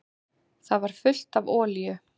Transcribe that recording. Það var fullt af olíu.